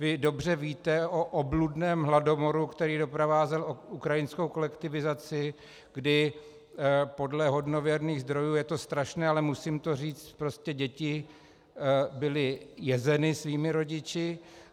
Vy dobře víte o obludném hladomoru, který doprovázel ukrajinskou kolektivizaci, kdy podle hodnověrných zdrojů, je to strašné, ale musím to říct, prostě děti byly jezeny svými rodiči.